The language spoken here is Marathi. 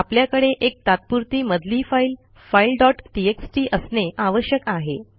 आपल्याकडे एक तात्पुरती मधली फाईल फाइल डॉट टीएक्सटी असणे आवश्यक आहे